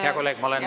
Hea kolleeg!